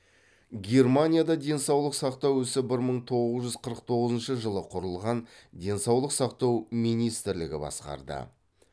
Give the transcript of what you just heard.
германияда денсалық сақтау ісі бір мың тоғыз жүз қырық тоғызыншы жылы құрылған денсаулық сақтау минитірлігі басқарды